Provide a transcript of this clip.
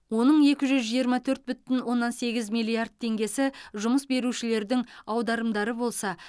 оның екі жүз жиырма төрт бүтін оннан сегіз миллиард теңгесі жұмыс берушілердің аударымдары болса